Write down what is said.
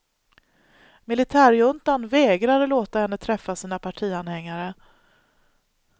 Militärjuntan vägrar låta henne träffa sina partianhängare.